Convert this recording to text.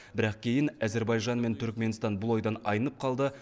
бірақ кейін әзербайжан мен түрікменстан бұл ойдан айнып қалды